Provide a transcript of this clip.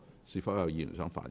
是否有議員想發言？